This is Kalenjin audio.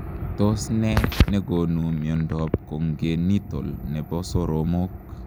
Tos nee negonuu miondoop congenital nepoo soromok?